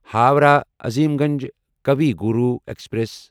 Howrah Azimganj Kavi Guru express